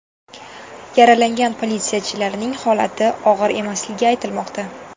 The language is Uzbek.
Yaralangan politsiyachilarning holati og‘ir emasligi aytilmoqda.